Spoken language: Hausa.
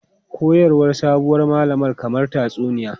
Koyarwar sabuwar malaman kamar tatsuniya.